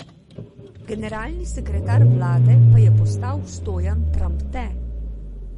Generalni sekretar vlade pa je postal Stojan Tramte.